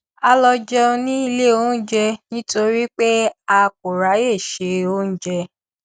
a lọ jẹun ní ilé onjẹ nítorí pé a kò ráyè se oúnjẹ